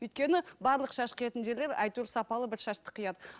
өйткені барлық шаш қиятын жерлер әйтеуір сапалы бір шашты қияды